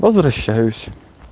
возвращаюсь